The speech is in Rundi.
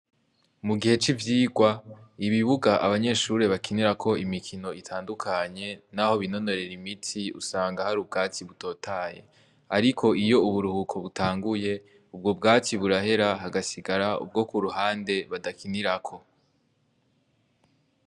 Mu gihe c'ivyirwa, ibibuga abanyeshure bakinirako imikino itandukanye naho binonorera imitsi usanga hari ubwatsi butotaye. Ariko iyo uburuhuko butanguye, ubwo bwatsi burahera hagasigara ubwo ku ruhande badakinirako.